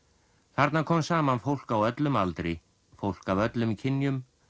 þarna kom saman fólk á öllum aldri fólk af öllum kynjum